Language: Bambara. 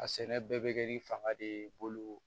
A sɛnɛ bɛɛ bɛ kɛ ni fanga de ye bolo